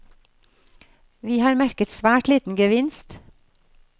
Vi har merket svært liten gevinst.